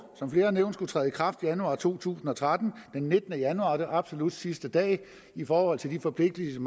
skulle træde i kraft i januar to tusind og tretten den nittende januar er absolut sidste dag i forhold til de forpligtelser